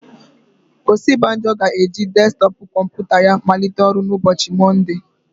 Osibajo ga-eji desktọpụ kọmputa ya malite ọrụ na ụbọchị Mọnde.